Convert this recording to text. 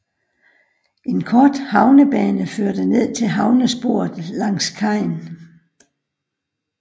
En kort havnebane førte ned til havnesporet langs kajen